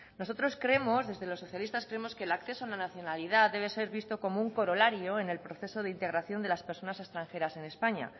nosotros creemos desde los socialistas creemos que el acceso a la nacionalidad debe ser visto como un corolario en el proceso de integración de las personas extranjeras en españa